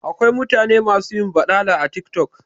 Akwai mutane masu yin baɗala a TikTok